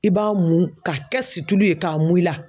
I b'a mun ka kɛ situlu ye k'a mun i la